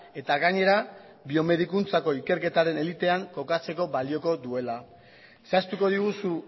eta gainera biomedikuntzako ikerketaren elitean kokatzeko balioko duela zehaztuko diguzu